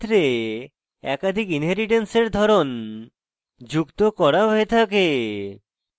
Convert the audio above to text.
এক্ষেত্রে একাধিক inheritance in ধরন যুক্ত হয়ে থাকে